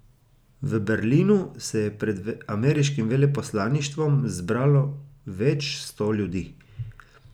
V Berlinu se je pred ameriškim veleposlaništvom zbralo več sto ljudi.